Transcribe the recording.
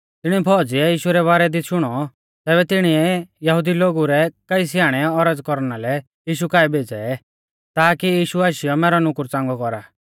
तिणी फौज़िए यीशु रै बारै दी शुणौ तैबै तिणीऐ यहुदी लोगु रै कई स्याणै औरज़ कौरना लै यीशु काऐ भेज़ै ताकी यीशु आशीयौ मैरौ नुकुर च़ांगौ कौरा